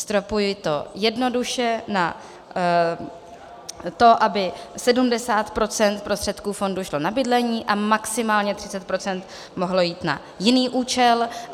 Stropuji to jednoduše na to, aby 70 % prostředků fondu šlo na bydlení a maximálně 30 % mohlo jít na jiný účel.